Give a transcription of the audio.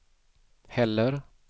heller